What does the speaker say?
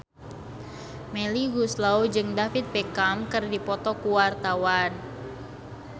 Melly Goeslaw jeung David Beckham keur dipoto ku wartawan